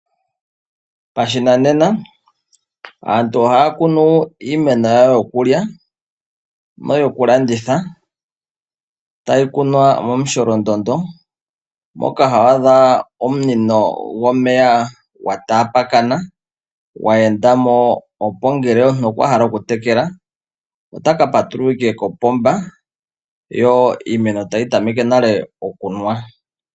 Pashinanena aantu ohaa kunu iimeno yawo yokulya noyokulanditha tayi kunwa momusholondondo moka hwaa dha omunino gwomeya gwa taapakana gwa enda mo opo ngele omuntu okwa hala okutekela otaka patulula owala kopomba yo iimeno tayi tameke okunwa.